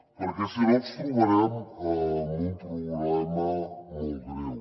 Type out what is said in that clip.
perquè si no ens trobarem amb un problema molt greu